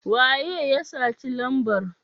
waye ya saci lambar?